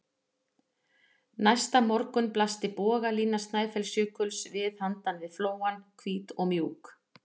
Næsta morgun blasti bogalína Snæfellsjökuls við handan við flóann, hvít og mjúk.